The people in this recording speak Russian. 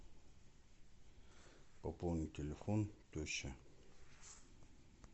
пополнить телефон теще